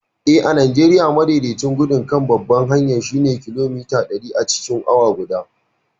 Eh, a Najeriya, madaidaicin gudun kan babbar hanyar shine kilomita ɗari acikin awa guda.